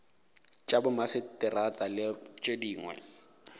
tša bomaseterata le tše dingwe